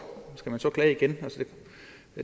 og skal man så klage igen